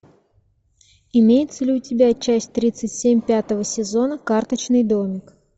имеется ли у тебя часть тридцать семь пятого сезона карточный домик